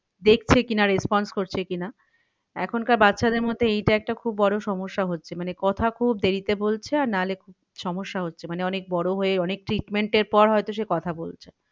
দেখছে কি না response করছে কি না। এখনকার বাচ্চাদের মধ্যে এইটা একটা খুব বড়ো সমস্যা হচ্ছে মানে কথা খুব দেরিতে বলছে আর না হলে খুব সমস্যা হচ্ছে। মানে অনেক বড়ো হয়ে অনেক treatment এর পর হয়তো সে কথা বলছে।